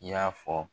I y'a fɔ